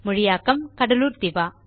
மொழியாக்கம் கடலூர் திவா